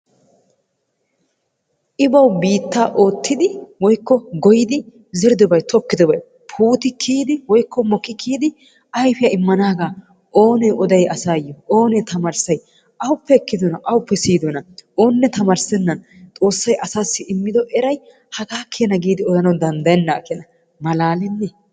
I bawu biittaa oottidi woykko goyyidi zeridoobay tokkidobay puuti kiyyid woykko mokki kiyyidi ayfiyaa immaanagaa oone oday asayyo, oonee tamarissay? awuppe ekkidona awuppe siyyidoona? oone tamissenan xoossay asassi immido eray haga keena giidi odanaw danddayyenaaga keena. malaalenne!